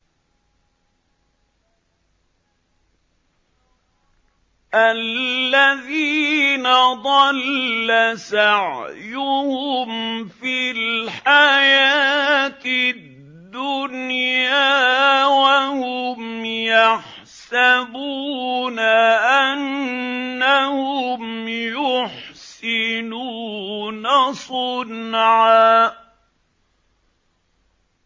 الَّذِينَ ضَلَّ سَعْيُهُمْ فِي الْحَيَاةِ الدُّنْيَا وَهُمْ يَحْسَبُونَ أَنَّهُمْ يُحْسِنُونَ صُنْعًا